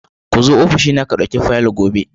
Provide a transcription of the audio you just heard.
Ka zo ofishi na ka ɗauki fayilolin gobe.